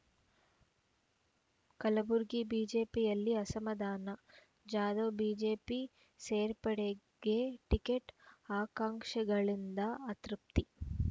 ಕಲಬುರಗಿ ಬಿಜೆಪಿಯಲ್ಲಿ ಅಸಮಾಧಾನ ಜಾಧವ್‌ ಬಿಜೆಪಿ ಸೇರ್ಪಡೆಗೆ ಟಿಕೆಟ್‌ ಆಕಾಂಕ್ಷಿಗಳಿಂದ ಅತೃಪ್ತಿ